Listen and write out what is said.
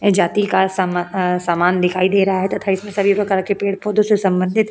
ए जाति का सम अ सामान दिखाई दे रहा है तथा इसमें सभी प्रकार के पेड़ पौधों से संबंधित --